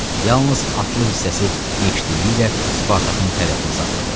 Yalnız atlı hissəsi yekdilliklə Spartakın tərəfini saxladı.